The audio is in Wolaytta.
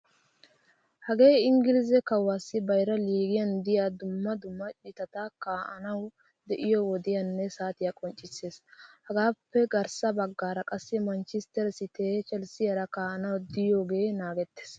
Hagee inggilizze kuwasiyaa bayra liigiyaan deiyaa dumma dumma citati kaa'anawu de'iyo wodiyanne saatiyaa qonccissees. Hegaappe garssa baggaara qassi manchchistere cite chelssiyaara ka'anawu diyoge naagettees.